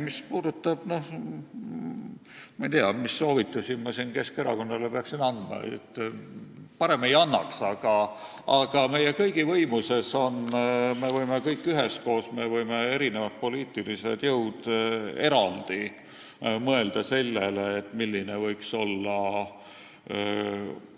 Mis puudutab seda, ma ei tea, mis soovitusi ma siin Keskerakonnale peaksin andma, siis ma parem ei annaks, aga meie kõigi võimuses on see, et me võime kõik üheskoos ja erinevad poliitilised jõud võivad eraldi mõelda sellele, milline võiks olla